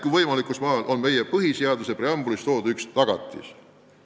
Elu võimalikkus maal on ka meie põhiseaduse järgi üks riigi püsimise tagatis.